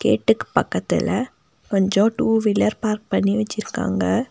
வீட்டுக்கு பக்கத்துல கொஞ்சோ டூ வீலர் பார்க் பண்ணி வெச்சுருக்காங்க.